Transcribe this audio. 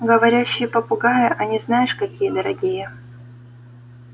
говорящие попугаи они знаешь какие дорогие